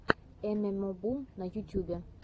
эмэмобум на ютюбе